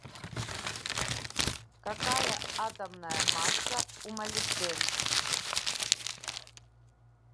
какая атомная масса у молибден